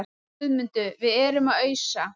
GUÐMUNDUR: Við erum að ausa.